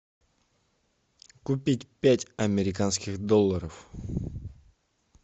купить пять американских долларов